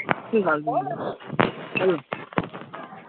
ঠিক আছে